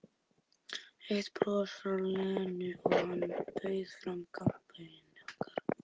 Eitt bros frá Lenu og hann bauð fram kampavínið okkar.